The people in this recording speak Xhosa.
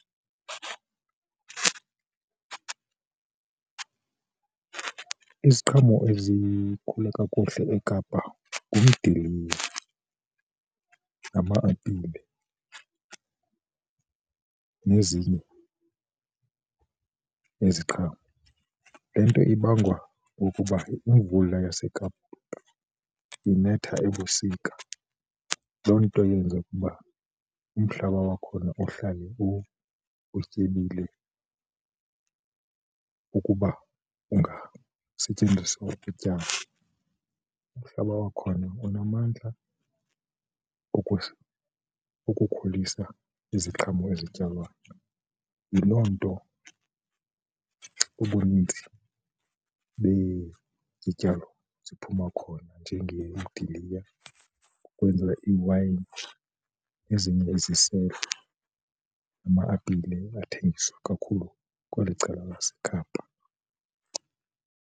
Iziqhamo ezikhula kakuhle eKapa ngumdiliya, ngama-apile nezinye iziqhamo. Le nto ibangwa kukuba imvula yaseKapa inetha ebusika, loo nto eyenza ukuba umhlaba wakhona uhlale utyebile ukuba ungasetyenziswa ukutyala. Umhlaba wakhona unamandla ukukhulisa iziqhamo ezityalwayo, yiloo nto ubunintsi bezityalo ziphuma khona njengemidiliya ukwenza iwayini nezinye iziselo nama-apile athengiswa kakhulu kweli cala laseKapa.